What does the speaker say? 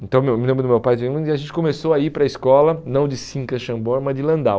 Então, eu me lembro do meu pai, de onde a gente começou a ir para a escola, não de Simca Xambor, mas de Landau.